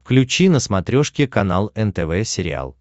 включи на смотрешке канал нтв сериал